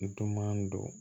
Duman don